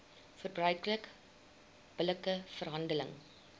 verbruiker billike verhandeling